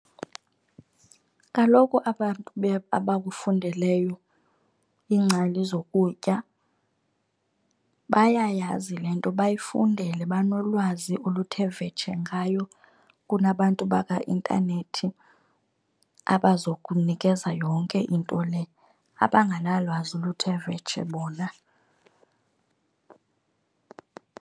Kaloku abantu abakufundeleyo, iingcali zokutya bayayazi le nto bayifundele, banolwazi oluthe vetshe ngayo kunabantu bakaintanethi abazokunikeza yonke into le, abanganalwazi oluthe vetshe bona.